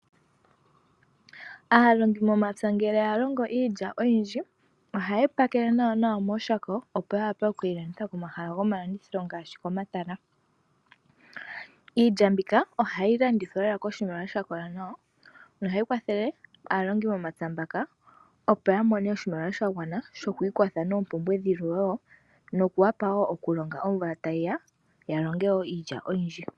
Aalongimomapya ngele ya longo iilya oyindji ohaya yi pakele nawa mooshako, opo ya wape oku yi landitha komahala gomalandithilo ngaashi pomatala. Iilya mbika ohayi landithwa lela koshimaliwa sha kola nawa nohayi kwathele aalongi momapya mbaka, opo ya mone oshimaliwa sha gwana shokwiitha noompumbwe dhilwe wo nokuwapa wo okulonga omvula tayi ya, ya longe wo iilya oyindji.